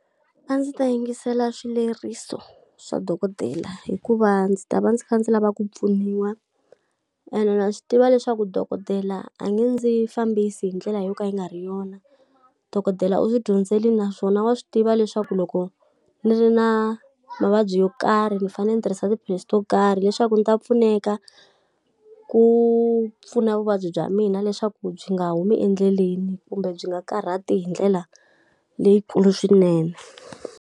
A ndzi ta yingisela swileriso swa dokodela hikuva ndzi ta va ndzi kha ndzi lava ku pfuniwa, ene na swi tiva leswaku dokodela a nge ndzi fambisi hi ndlela yo ka yi nga ri yona. Dokodela u swi dyondzerile naswona wa swi tiva leswaku loko ni ri na mavabyi yo karhi ni fanele ni tirhisa tiphilisi to karhi leswaku ndzi ta pfuneka, ku pfuna vuvabyi bya mina leswaku byi nga humi endleleni kumbe byi nga karhati hi ndlela leyikulu swinene.